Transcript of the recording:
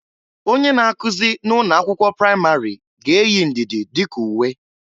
Onye na-akụzị na ụnọ akwụkwọ pramarị ga-eyi ndịdị dịka uwe.